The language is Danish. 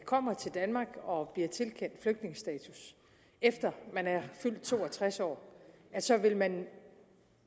kommer til danmark og bliver tilkendt flygtningestatus efter man er fyldt to og tres år så vil man